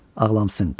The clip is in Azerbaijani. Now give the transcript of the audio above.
Ağlamsın, qışqır.